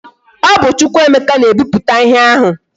O bu Chukwuemeka na e biputa ihe ahu